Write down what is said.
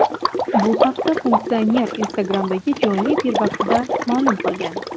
Bu haqda funksioner Instagram’dagi jonli efir vaqtida ma’lum qilgan.